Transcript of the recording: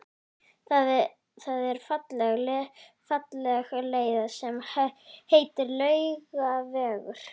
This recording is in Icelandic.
Það er falleg leið sem heitir Laugavegur.